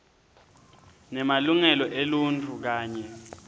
nemalungelo eluntfu kanye